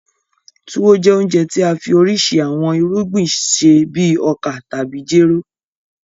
Tuwo jẹ́ ounjẹ tí a fi oríṣiríṣi awọn irugbin ṣe bíi oka tàbí jéró.